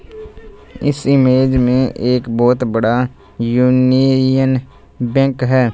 इस इमेज में एक बहोत बड़ा यूनियन बैंक है।